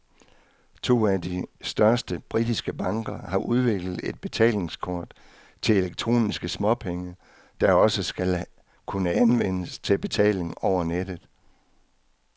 To af de største britiske banker har udviklet et betalingskort til elektroniske småpenge, der også skal kunne anvendes til betaling over nettet.